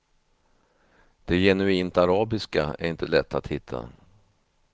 Det genuint arabiska är inte lätt att hitta.